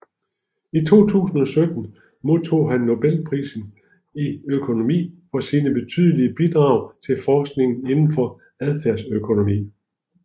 I 2017 modtog han Nobelprisen i økonomi for sine betydelige bidrag til forskningen indenfor adfærdsøkonomi